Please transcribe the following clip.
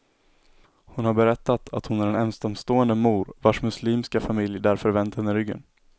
Hon har berättat att hon är en ensamstående mor, vars muslimska familj därför vänt henne ryggen.